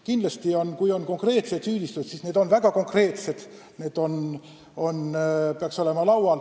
Kindlasti, kui on konkreetsed süüdistused, siis need peaks küll laual olema.